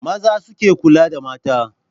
Maza suke kula da mata.